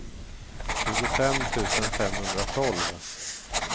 tjugofem tusen femhundratolv